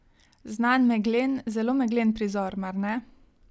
Znan meglen, zelo meglen prizor, mar ne.